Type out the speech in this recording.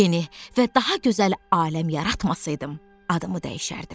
Yeni və daha gözəl aləm yaratmasaydım, adımı dəyişərdim.